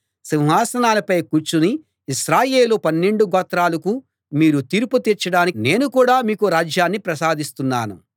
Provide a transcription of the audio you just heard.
సింహాసనాలపై కూర్చుని ఇశ్రాయేలు పన్నెండు గోత్రాలకూ మీరు తీర్పు తీర్చడానికి నేను కూడా మీకు రాజ్యాన్ని ప్రసాదిస్తున్నాను